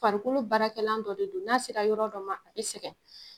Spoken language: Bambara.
Farikolo barakɛlan dɔ de don, n'a sera yɔrɔ dɔ ma , a bɛ sɛgɛn.